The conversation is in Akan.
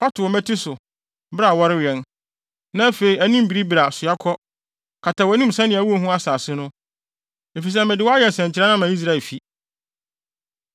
Fa to wo mmati so, bere a wɔrewɛn, na afei anim biribiri a, soa kɔ. Kata wʼanim sɛnea wunhu asase no, efisɛ mede wo ayɛ nsɛnkyerɛnne ama Israelfi.”